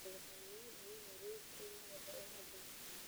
Madaxweynihii ugu horreeyay ee Kenya wuxuu ahaa Jomo Kenyatta.